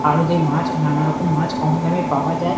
আড়তে মাছ নানারকম মাছ কম দামে পাওয়া যায়।